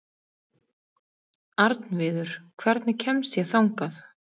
Arnviður, hvernig kemst ég þangað?